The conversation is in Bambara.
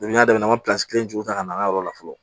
n y'a daminɛ an be juru jɔ ka na an ka yɔrɔ la fɔlɔ